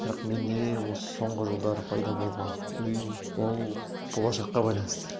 бірақ менде осы соңғы жылдары пайда болған үрей ол болашаққа байланысты